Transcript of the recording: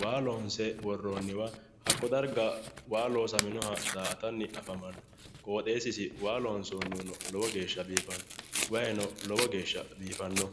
waa loonse worreenniha hakko darga waa loosaminoha daa''atanni afamanno qooxeessisi waa loonsoonnihuno lowo geeshsha biifanno wayiino lowo geeshsha biifanno.